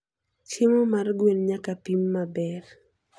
Chiemo mar gwen nyaka pim maber.